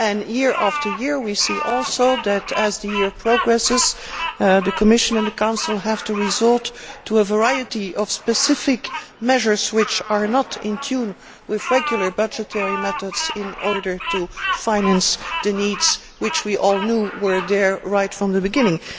Year after year, we also see that, as the year progresses, the Commission and the Council have to resort to a variety of specific measures which are not in tune with regular budgetary methods in order to finance the needs which we all knew were there right from the beginning.